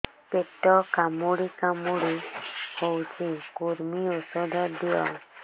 ପେଟ କାମୁଡି କାମୁଡି ହଉଚି କୂର୍ମୀ ଔଷଧ ଦିଅ